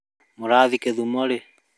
Mũrathiĩ gĩthumo rĩ?